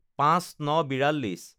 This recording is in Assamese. ০৫/০৯/৪২